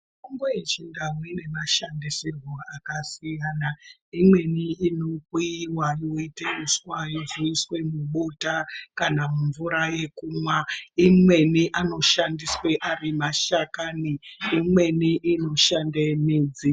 Mitombo yechindau ine mashandisirwo akasiyana. Imweni inokuyiwa yoita uswa yozoiswa mubota kana mumvura yekumwa. Imweni anoshandiswa ari mashakani. Imweni inoshande midzi.